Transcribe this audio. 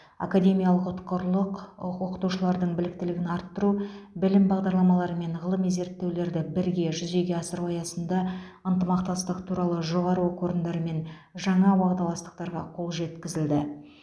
академиялық ұтқырлық оқытушылардың біліктілігін арттыру білім бағдарламалары мен ғылыми зерттеулерді бірге жүзеге асыру аясында ынтымақтастық туралы жоғары оқу орындарымен жаңа уағдаластықтарға қол жеткізілді